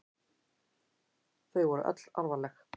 Þau voru öll alvarleg.